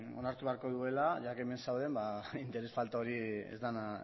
orain onartu behar duela hemen zaudenez ba interes falta hori